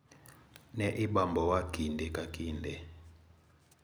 "Ne ibambowa kinde ka kinde."